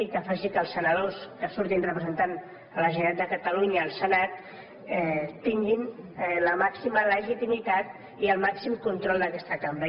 i que faci que els senadors que surtin representant la generalitat de catalunya al senat tinguin la màxima legitimitat i el màxim control d’aquesta cambra